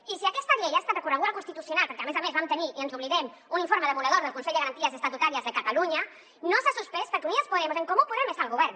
i si aquesta llei que ha estat recorreguda al constitucional perquè a més a més vam tenir i ens n’oblidem un informe demolidor del consell de garanties estatutàries de catalunya no s’ha suspès és perquè unidas podemos i en comú podem estan al govern